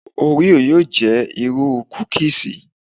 Òríò yóò jẹ́ irú kúkíísì.